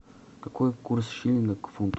какой курс шиллинга к фунту